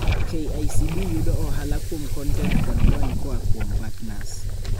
KICD yudo ohala kuom kontent kod lony koaa kuom partners.